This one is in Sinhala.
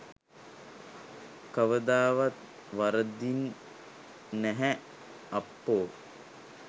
කවදාවත් වරදින් නැහැ අප්පෝ